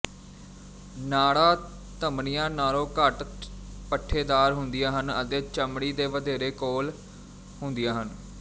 ਨਾੜਾਂ ਧਮਣੀਆਂ ਨਾਲ਼ੋਂ ਘੱਟ ਪੱਠੇਦਾਰ ਹੁੰਦੀਆਂ ਹਨ ਅਤੇ ਚਮੜੀ ਦੇ ਵਧੇਰੇ ਕੋਲ਼ ਹੁੰਦੀਆਂ ਹਨ